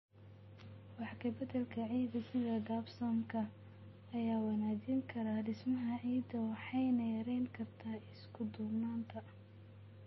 Wax-ka-beddelka ciidda sida gypsum-ka ayaa wanaajin kara dhismaha ciidda waxayna yareyn kartaa isku-duubnaanta.